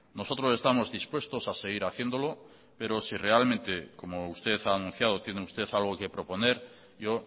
nosotros estamos dispuestos a seguir haciéndolo pero si realmente como usted ha anunciado tiene usted algo que proponer yo